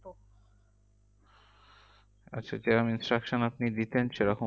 আচ্ছা Jerome instruction আপনি দিতেন সেরকম